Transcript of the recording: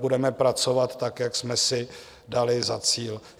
Budeme pracovat tak, jak jsme si dali za cíl.